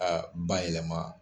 A ba yɛlɛma